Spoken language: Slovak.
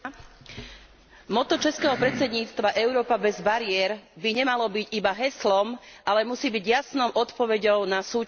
Motto českého predsedníctva Európa bez bariér by nemalo byť iba heslom, ale musí byť jasnou odpoveďou na súčasné výzvy.